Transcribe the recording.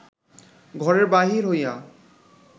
ঘরের বাহির হইয়া